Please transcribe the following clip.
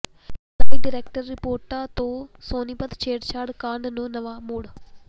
ਲਾਈ ਡਿਟੈਕਟਰ ਰਿਪੋਰਟਾਂ ਤੋਂ ਸੋਨੀਪਤ ਛੇੜਛਾੜ ਕਾਂਡ ਨੂੰ ਨਵਾਂ ਮੋੜ